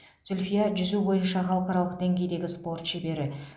зүльфия жүзу бойынша халықаралық деңгейдегі спорт шебері